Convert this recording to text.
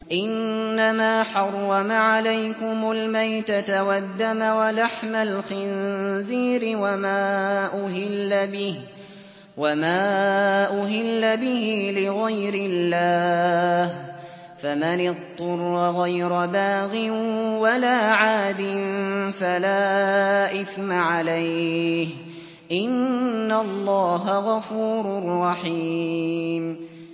إِنَّمَا حَرَّمَ عَلَيْكُمُ الْمَيْتَةَ وَالدَّمَ وَلَحْمَ الْخِنزِيرِ وَمَا أُهِلَّ بِهِ لِغَيْرِ اللَّهِ ۖ فَمَنِ اضْطُرَّ غَيْرَ بَاغٍ وَلَا عَادٍ فَلَا إِثْمَ عَلَيْهِ ۚ إِنَّ اللَّهَ غَفُورٌ رَّحِيمٌ